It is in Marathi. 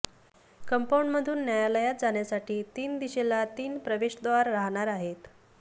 कंपाऊंडमधून न्यायालयात जाण्यासाठी तीन दिशेला तीन प्रवेशद्वार राहणार आहेत